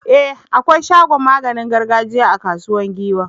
E! akwai shagon maganin gargajiya a Kasuwar Giwa.